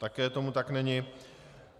Také tomu tak není.